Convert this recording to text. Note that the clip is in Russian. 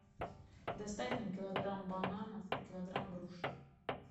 доставь мне килограмм бананов и килограмм груш